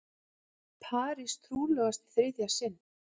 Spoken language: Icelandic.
Paris trúlofast í þriðja sinn